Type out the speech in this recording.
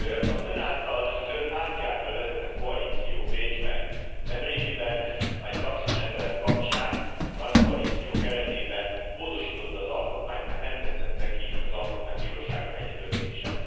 Az Ön által, az Ön pártja által vezetett koalíció Bécsben nemrégiben egy taxisrendelet kapcsán a nagykoalíció keretében módosította az alkotmányt, mert nem tetszett neki az Alkotmánybíróság egy döntése.